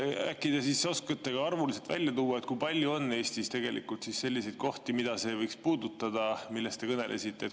Äkki te oskate ka arvuliselt välja tuua, kui palju on Eestis tegelikult selliseid kohti, mida see võiks puudutada, millest te kõnelesite?